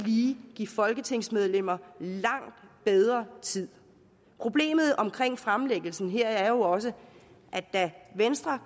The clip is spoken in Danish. give folketingsmedlemmerne langt bedre tid problemet omkring fremlæggelsen her er jo også at da venstre